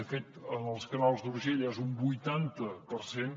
de fet en els canals d’urgell és un vuitanta per cent